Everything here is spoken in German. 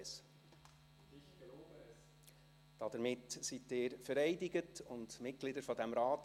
Hiermit sind Sie vereidigt und Mitglieder dieses Rates.